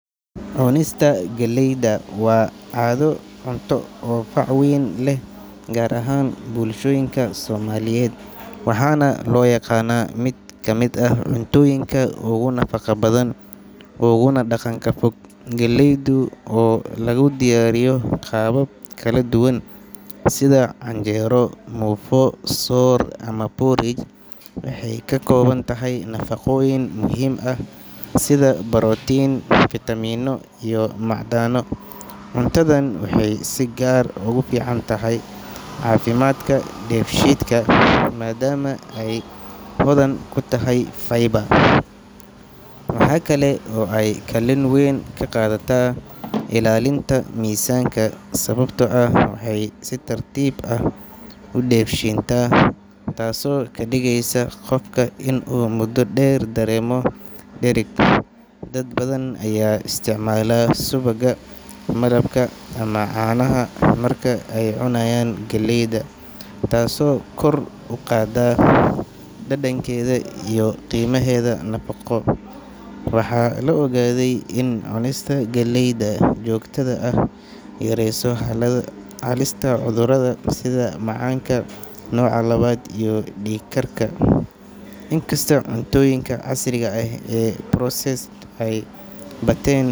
Cunista geleyda waa caado cunto oo fac weyn leh, gaar ahaan bulshooyinka Soomaaliyeed, waxaana loo yaqaannaa mid ka mid ah cuntooyinka ugu nafaqo badan uguna dhaqanka fog. Geleydu, oo lagu diyaariyo qaabab kala duwan sida canjeero, muufo, soor ama porridge, waxay ka kooban tahay nafaqooyin muhiim ah sida borotiin, fiitamiinno iyo macdano. Cuntadan waxay si gaar ah ugu fiican tahay caafimaadka dheefshiidka, maadaama ay hodan ku tahay fiber. Waxa kale oo ay kaalin weyn ka qaadataa ilaalinta miisaanka, sababtoo ah waxay si tartiib ah u dheefshiintaa, taasoo ka dhigeysa qofka inuu muddo dheer dareemo dhereg. Dad badan ayaa isticmaala subagga, malabka ama caanaha marka ay cunayaan geleyda, taasoo kor u qaadda dhadhankeeda iyo qiimaheeda nafaqo. Waxaa la ogaaday in cunista geleyda joogtada ah ay yareyso halista cudurrada sida macaanka nooca labaad iyo dhiig karka. Inkastoo cuntooyinka casriga ah ee processed ay batteen.